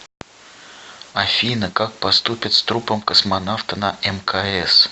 афина как поступят с трупом космонавта на мкс